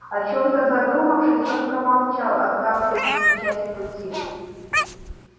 о чём-то задумавшись он промолчал оставшуюся часть пути